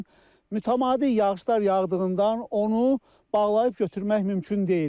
Lakin mütəmadi yağışlar yağdığından onu bağlayıb götürmək mümkün deyil.